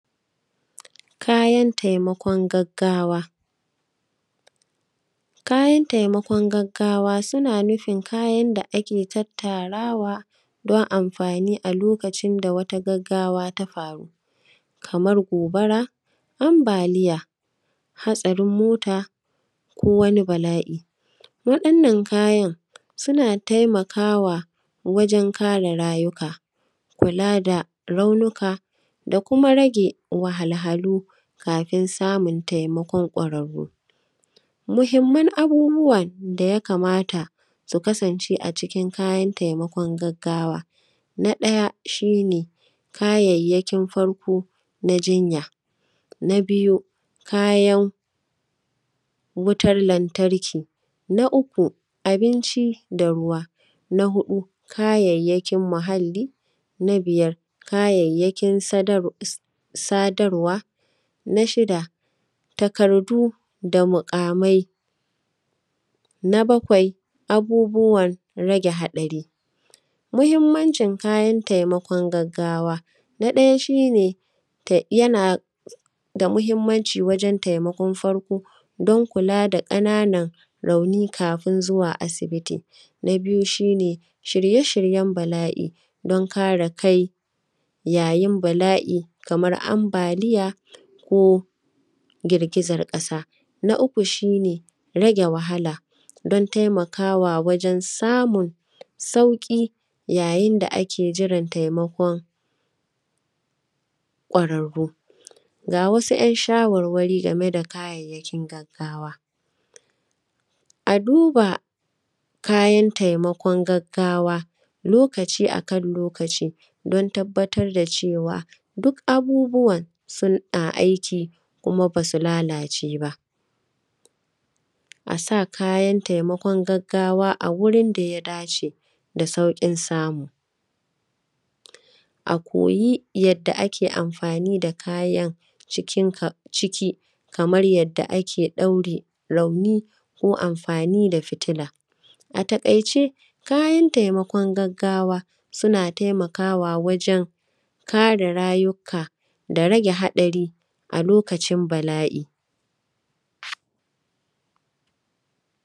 Kayan taimakon gaggawa. Kayan taimakon gaggawa, suna nufin kayan da ake tattarawa don anfani a lokacin da wata gaggawa ta faru. Kamar gobara, ambaliya, hatsarin mota ko wani bala’i. Wa’yannan kayan, suna taimakawa wajen kare rayuka, kula da raunuka da kuma rage wahalhalu kafin samun taimakon ƙwararru. Muhimman abubuwan da ya kamata su kasance a cikin kayan taimakon gaggawa, na ɗaya, shi ne kayayyakin farko na jinya, na biyu, kayan wutar lantarki, na uku abinci da ruwa. Na huɗu, kayayyakin muhalli, na biyar, kayayyakin sadar, s; sadarwa, na shida, takardu da muƙamai, na bakwai, abubuwan rage haɗari. Muhimmancin kayan taimakon gaggawa, na ɗaya shi ne ta; yana da muhimmanci wajen taimakon farko, don kula da ƙananan rauni kafin zuwa asibiti. Na biyu, shi ne shirye-shiryen bala’i don kare kai yayin bala’i kamar ambaliya ko girgizan ƙasa. Na uku, shi ne rage wahala don taimakawa wajen samun sauƙi yayin da ake jiran taimakon ƙwararru. Ga wasu ‘yan shawarwari game da kayayyakin gaggawa, a duba kayan taimakon gaggawa lokaci a kan lokaci, don tabbatar da cewa, duk abubuwan suna aiki kuma ba su lalace ba. A sa kayan taimakon gaggawa a wurin da ya dace da sauƙin samu. A koyi yadda ake amfani da kayan cikin ka; ciki kamar yadda ake ɗaure rauni ko amfani da fitila. A taƙaice, kayan taimakon gaggawa, suna taimakawa wajen kare rayuka da rage haɗari a lokacin bala’i.